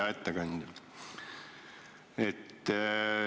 Hea ettekandja!